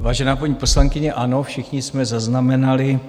Vážená paní poslankyně, ano, všichni jsme zaznamenali